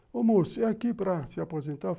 Ô, moço, é aqui para se aposentar?